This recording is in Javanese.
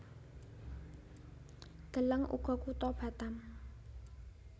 Deleng uga Kutha Batam